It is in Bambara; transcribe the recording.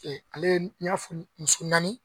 ale n y'a foni muso naani